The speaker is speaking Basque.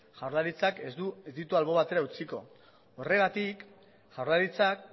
jaurlaritzak ez ditu albo batera utziko horregatik jaurlaritzak